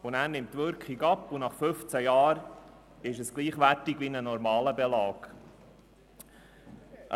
Danach nimmt die Wirkung ab, sodass er nach 15 Jahren einem normalen Belag gleichwertig ist.